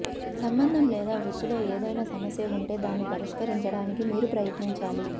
సంబంధం లేదా వృత్తిలో ఏదైనా సమస్య ఉంటే దాన్ని పరిష్కరించడానికి మీరు ప్రయత్నించాలి